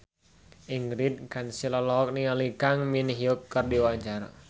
Ingrid Kansil olohok ningali Kang Min Hyuk keur diwawancara